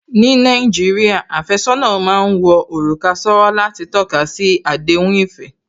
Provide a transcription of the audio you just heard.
Ní Nàìjíríà, àfẹ́sọ́nà má ń wọ òrùka sówó láti tọ́kasi àdéhùn ìfẹ́